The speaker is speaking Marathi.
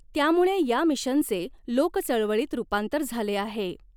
त्यामुळे या मिशनचे लोकचळवळीत रूपांतर झाले आहे.